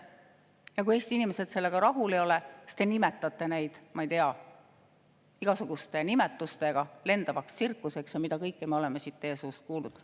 Ja kui Eesti inimesed sellega rahul ei ole, siis te nimetate neid, ma ei tea, igasuguste nimetustega, lendavaks tsirkuseks ja mida kõike me oleme siit teie suust kuulnud.